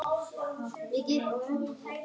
Ekki síst hún.